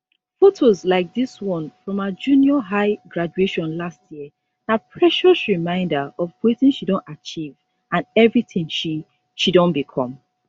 fotos like dis one from her junior high graduation last year na precious reminder of wetin she don achieve and evritin she she don become